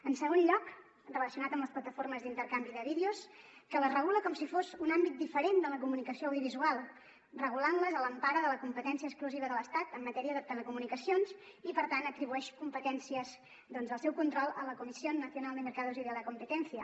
en segon lloc relacionat amb les plataformes d’intercanvi de vídeos que les re·gula com si fos un àmbit diferent de la comunicació audiovisual regulant·les a l’em·para de la competència exclusiva de l’estat en matèria de telecomunicacions i per tant atribueix competències del seu control a la comisión nacional de los mercados y de la competencia